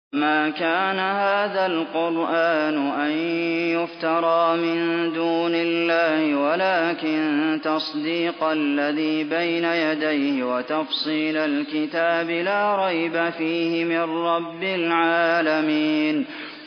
وَمَا كَانَ هَٰذَا الْقُرْآنُ أَن يُفْتَرَىٰ مِن دُونِ اللَّهِ وَلَٰكِن تَصْدِيقَ الَّذِي بَيْنَ يَدَيْهِ وَتَفْصِيلَ الْكِتَابِ لَا رَيْبَ فِيهِ مِن رَّبِّ الْعَالَمِينَ